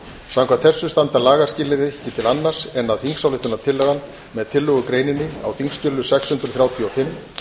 samkvæmt þessu standa lagaskilyrði ekki til annars en að þingsályktunartillagan með tillögugreininni á þingskjali sex hundruð þrjátíu og fimm